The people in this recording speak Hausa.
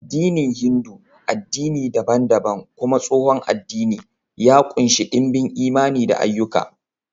Addinin Hindu, addini dabam-dabam kuma tsohon addini, ya ƙunshi ɗimbin imani da ayyuka